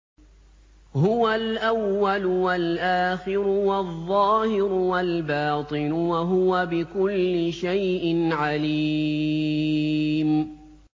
هُوَ الْأَوَّلُ وَالْآخِرُ وَالظَّاهِرُ وَالْبَاطِنُ ۖ وَهُوَ بِكُلِّ شَيْءٍ عَلِيمٌ